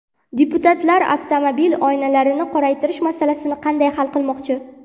Deputatlar avtomobil oynalarini qoraytirish masalasini qanday hal qilmoqchi?